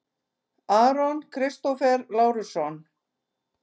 Aron Kristófer Lárusson